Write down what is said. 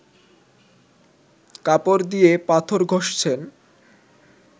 কাপড় দিয়ে পাথর ঘষছেন